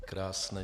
Krásné.